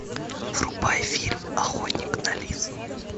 врубай фильм охотник на лис